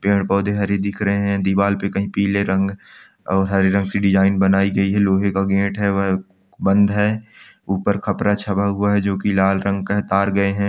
पेड़-पौधे हरे दिख रहे हैं दीवाल पे कहीं पीले रंग और हरे रंग से डिजाइन बनाई गई है लोहे का गेट है वह बंद है ऊपर खपरा छवा हुआ है जो की लाल रंग का है तार गए हैं।